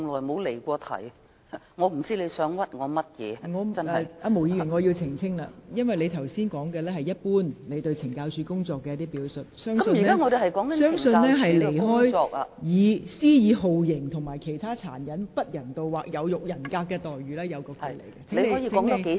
毛議員，我要在此澄清，我認為你剛才的發言是對懲教署工作的一般表述，與在囚人士懷疑被施以酷刑和其他殘忍、不人道或有辱人格待遇的議題有所偏離。